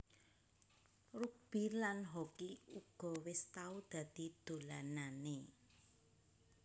Rugbi lan hoki uga wis tau dadi dolananè